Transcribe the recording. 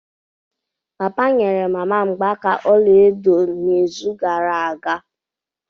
Papa nyere mama mgbaaka ọla edo n'izu gara aga.